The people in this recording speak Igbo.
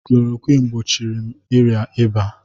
klorokwinu gbochiri m ịrịa ịba.